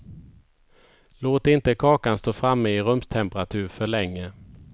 Låt inte kakan stå framme i rumstemperatur för länge.